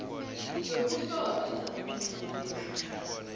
yokuhlolwa izakuthoma ngemva